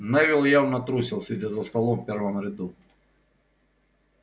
невилл явно трусил сидя за столом в первом ряду